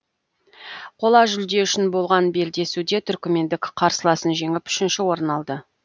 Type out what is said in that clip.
қола жүлде үшін болған белдесуде түркмендік қарсыласын жеңіп үшінші орын алды